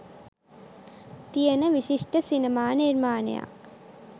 තියෙන විශිෂ්ට සිනමා නිර්මාණයක්